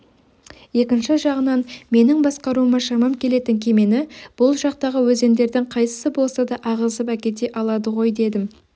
екінші жағынан менің басқаруыма шамам келетін кемені бұл жақтағы өзендердің қайсысы болса да ағызып әкете алады ғой дедім